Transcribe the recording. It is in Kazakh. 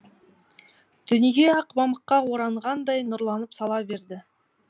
дүние ақ мамыққа оранғандай нұрланып сала берді